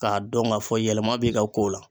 K'a dɔn ŋ'a fɔ yɛlɛma b'i ka ko la